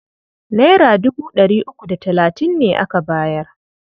Naira dubu ɗari uku da talatin ne aka bayar.